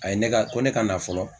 A ye ne ka , ko ne ka na fɔlɔ